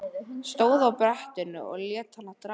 Stóð á brettinu og lét hann draga sig.